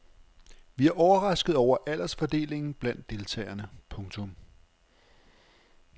Vi er overrasket over aldersfordelingen blandt deltagerne. punktum